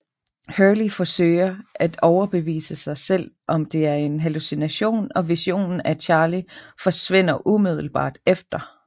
Hurley forsøger at overbevise sig selv om at det er en hallucination og visionen af Charlie forsvinder umiddelbart efter